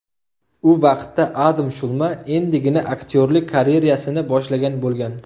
U vaqtda Adam Shulma endigina aktyorlik karyerasini boshlagan bo‘lgan.